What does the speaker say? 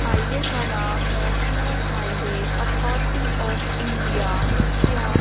highway का नाम national highway authority of India लिखिया--